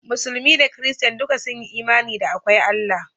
Musulmi da Kirista duka sun yi imani da akwai Allah